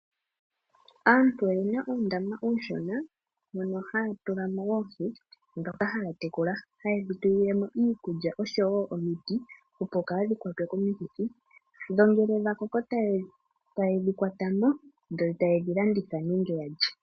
Aantu oyena uundama uushona mono haya tula mo oohi dhoka haya tekula haye dhi tulilemo iikulya oshowo omiti opo kaadhi kwatwe komikithi dho ngele dha koko taye dhi kwatamo dho taye dhi landitha nenge yalye.